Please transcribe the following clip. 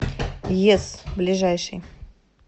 ес ближайший